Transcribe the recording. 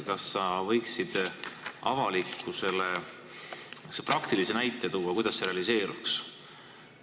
Kas sa võiksid avalikkusele praktilise näite tuua, kuidas see realiseeruks?